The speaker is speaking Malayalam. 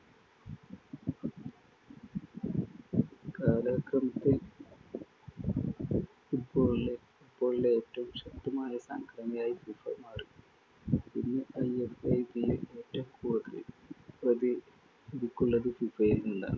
കാലക്രമത്തിൽ football ലെ football ലെ ഏറ്റവും ശക്തമായ സംഘടനയായി ഫിഫ മാറി. ഇന്ന് ഐഎഫ്എബിയിൽ ഏറ്റവും കൂടുതൽ പ്രതി~നിധികളുള്ളത്‌ ഫിഫയിൽ നിന്നാണ്‌.